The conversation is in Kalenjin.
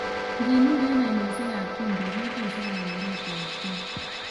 Nginur en ainosiek ab chumbik kobose kangwaretabkei